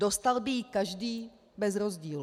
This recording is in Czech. Dostal by ji každý bez rozdílu.